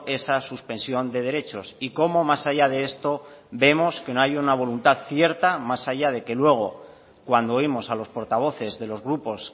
esa suspensión de derechos y cómo más allá de esto vemos que no hay una voluntad cierta más allá de que luego cuando oímos a los portavoces de los grupos